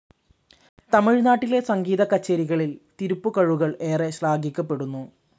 തമിഴ്നാട്ടിലെ സംഗീതക്കച്ചേരികളിൽ തിരുപ്പുകഴുകൾ ഏറെ ശ്ലാഘിക്കപ്പെടുന്നു.